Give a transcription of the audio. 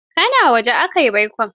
Ka na wajen aka yi baikon?